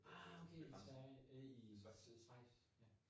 Ah okay, i Svergie øh i Schweiz ja